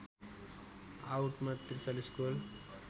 आउटमा ४३ goal